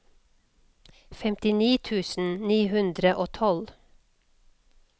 femtini tusen ni hundre og tolv